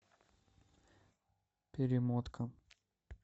перемотка